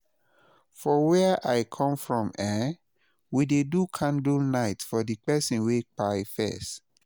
for wia i kom from eh, we dey do candlenite for di person wey kpai first